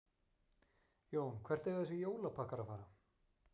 Jón: Hvert eiga þessir jólapakkar að fara?